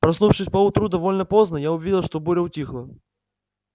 проснувшись поутру довольно поздно я увидел что буря утихла